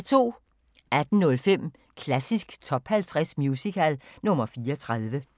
18:05: Klassisk Top 50 Musical – nr. 34